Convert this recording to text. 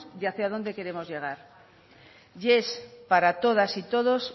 y hacia dónde queremos llegar y es para todas y todos